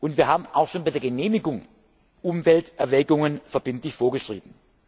Wir haben auch schon bei der Genehmigung Umwelterwägungen verbindlich vorgeschrieben.